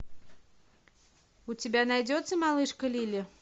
у тебя найдется малышка лили